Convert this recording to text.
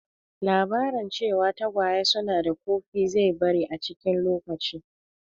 Labarin cewa tagwaye su na da ƙofi zai bari a cikin lokaci